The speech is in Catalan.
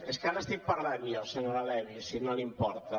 és que ara estic parlant jo senyora levy si no li importa